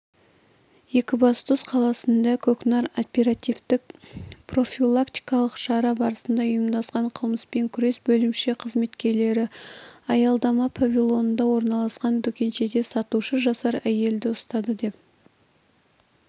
екібастұз қаласындпа көкнәр оперативтік-профилактикалық шара барысында ұйымдасқан қылмыспен күрес бөлімше қызметкерлері аялдама павильонында орналасқан дүкеншеде сатушы жасар әйелді ұстады деп